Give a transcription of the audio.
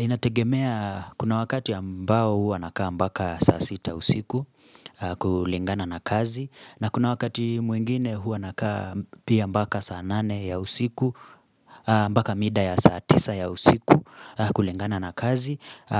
Inategemea kuna wakati ambao huwa nakaa mpaka saa sita usiku kulingana na kazi na kuna wakati mwingine huwa nakaa pia mpaka saa nane ya usiku mpaka mida ya saa tisa ya usiku kulingana na kazi